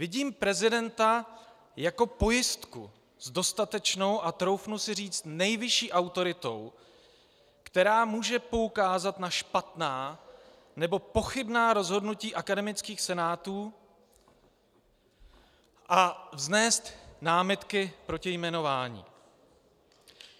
Vidím prezidenta jako pojistku s dostatečnou, a troufnu si říct nejvyšší autoritou, která může poukázat na špatná nebo pochybná rozhodnutí akademických senátů a vznést námitky proti jmenování.